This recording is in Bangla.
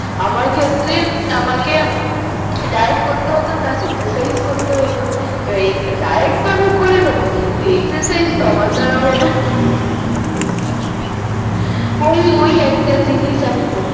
আমার ক্ষেত্রে আমাকে ডায়েট করতে হতো প্লাস এক্সারসাইজ করতে হতো এবার ডাইয়েট করে নেবো কিন্তু এক্সারসাইজ তো আমার দ্বারা হবেনা হয় ওই একটা জিনিস আমি করছি